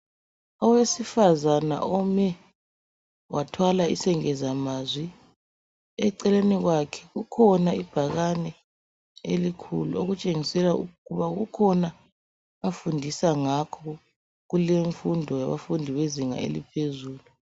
Owesifazana ome wathwala isengezamazwi eceleni kwakhe kukhona ibhakani eilkhulu okutshengisela ukuthi kukhona afundisa ngakho kuleyi mfundo yabafundi bezinga eliphezulu.